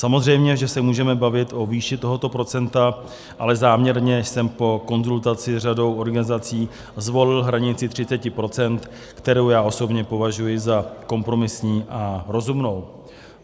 Samozřejmě že se můžeme bavit o výši tohoto procenta, ale záměrně jsem po konzultaci s řadou organizací zvolil hranici 30 %, kterou osobně považuji za kompromisní a rozumnou.